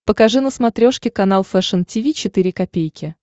покажи на смотрешке канал фэшн ти ви четыре ка